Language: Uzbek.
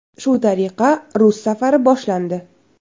Shu tariqa rus safari boshlandi.